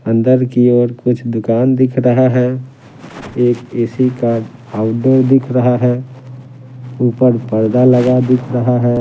अंदर की ओर कुछ दुकान दिख रहा है एक ए-सी कार्ड आउटडोर दिख रहा है ऊपर पर्दा लगा दिख रहा है।